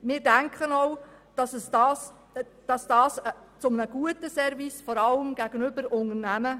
Wir denken auch, dass dies zu einem guten Service gehört, vor allem gegenüber Unternehmen.